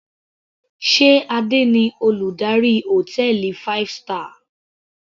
Sé Adé ni Olùdarí hòtẹ́ẹ̀lì five star.